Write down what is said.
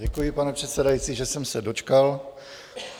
Děkuji, pane předsedající, že jsem se dočkal.